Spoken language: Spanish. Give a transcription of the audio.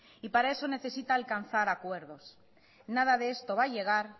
y para eso necesita alcanzar acuerdos nada de esto va a llegar